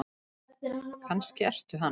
Kannski ertu hann?